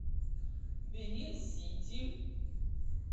бенин сити